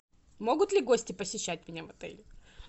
могут ли гости посещать меня в отеле